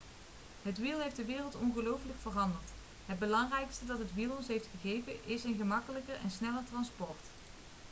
het wiel heeft de wereld ongelooflijk veranderd het belangrijkste dat het wiel ons heeft gegeven is een gemakkelijker en sneller transport